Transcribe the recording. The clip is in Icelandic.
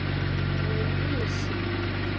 Og risi!